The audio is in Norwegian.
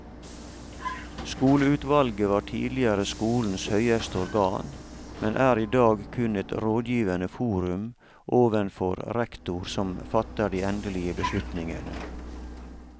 Skoleutvalget var tidligere skolens høyeste organ, men er i dag kun et rådgivende forum ovenfor rektor som fatter de endelige beslutningene.